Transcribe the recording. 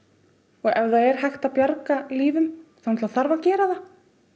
og ef það er hægt að bjarga lífum þá bara þarf að gera það